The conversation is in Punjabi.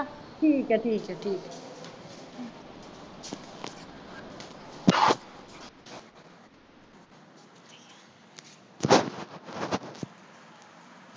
ਠੀਕ ਐ ਠੀਕ ਐ